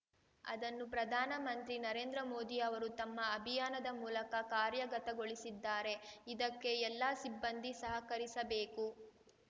ಅದನ್ನು ಪ್ರಧಾನ ಮಂತ್ರಿ ನರೇಂದ್ರ ಮೋದಿ ಅವರು ತಮ್ಮ ಅಭಿಯಾನದ ಮೂಲಕ ಕಾರ್ಯಗತಗೊಳಿಸಿದ್ದಾರೆ ಇದಕ್ಕೆ ಎಲ್ಲ ಸಿಬ್ಬಂದಿ ಸಹಕರಿಸಬೇಕು